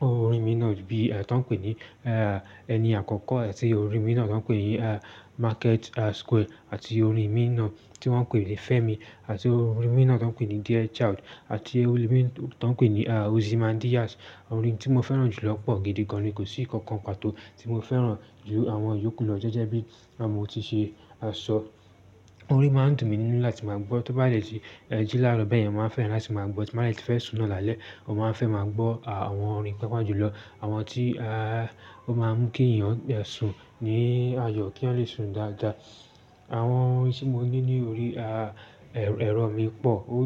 orin míì náà bí, a, tó ń pè ní, e, ẹni àkọ́kọ́ rẹ̀ sí orin míì náà tó ń pè ní, a, Market, a, Square àti orin mìín náà tí wọ́n ń pè ní Femi àti orin mìín náà tó ń pè ní Dear Child àti orin mìín tó ń pè ní Ozymandias. Orin tí mo fẹ́ràn jù lọ pọ̀ gidi gan ni, kò sí ìkankan pàtó tí mo fẹ́ràn ju àwọn yòókù lọ jẹ́jẹ́ bí lábọ́ mo ti ṣe sọ. Orin máa ń dùn mí nínú láti máa gbọ́. Tó bá dẹ̀ ṣì jí láró bẹ́ẹ̀ yẹn, màá fẹ́ràn láti máa gbọ́. Tí màá dẹ̀ ṣì fẹ́ sùn náà lálẹ́, mo máa ń fẹ́ máa gbọ́, a, àwọn orin pàápàá jùlọ. Àwọn tí, a, ó máa ń kí èèyàn, de, sùn ní àyọ̀ kí eyan lè sùn dáadáa. Àwọn orin tí mo ní ní orí, a, ẹ̀rọ mi pọ̀. Ó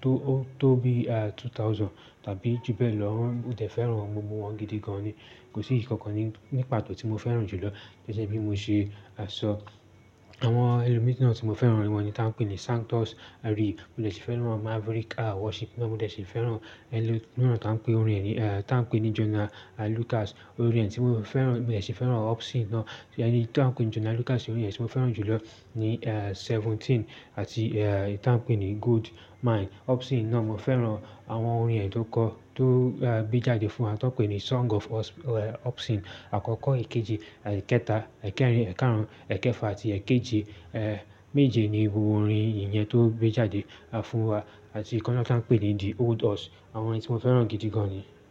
tó ó tó bí, a, 2000 tàbí jù bẹ́ẹ̀ lọ. Mo dẹ fẹràn gbógbo wọn gidi gan ni kò sí ìkankan ní pàtó tí mo fẹ́ràn jù lọ gẹ́gẹ́ bí mo ṣe sọ. Àwọn ẹlòmíràn ti mo fẹràn ni ta n pe ni santos. Mo dẹ̀ ṣì fẹ́ràn Maverick A Worship náà. Mo dẹ̀ ṣì fẹ́ràn ẹlòmíràn tó ń pe orin rẹ̀ ní, a, tó ń pè ní Jonah Lucas. Orin ẹni tí mo fẹ́ràn, mo dẹ̀ ṣì fẹ́ràn Opsin náà. Ẹ̀ní tó ń pè ní Jonah Lucas ni orin yẹn tí mo fẹ́ràn jù lọ ni, a, Seventeen àti, a, tó ń pè ní Gold Mine. Opsin náà mo fẹ́ràn àwọn orin rẹ̀ tó kọ tó gbé jáde fún wa tó ń pè ní Song of Ops Opsin. Àkọ́kọ́, èkejì, àì kẹta, èkẹrin, èkarùn, èkẹfà àti èkejì, ẹ́, méje ni gbogbo orin ìyẹn tó gbé jáde fún wa àti kan náà tó ń pè ní The Old Us. Àwọn orin tí mo fẹ́ràn gidi gan ni.